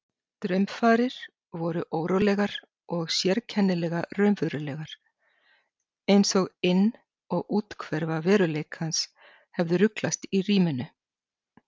Draumfarir voru órólegar og sérkennilega raunverulegar einsog inn- og úthverfa veruleikans hefðu ruglast í ríminu.